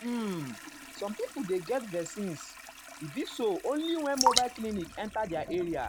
uhmsome people dey get vaccineas e be so only when mobile clinic enta their area.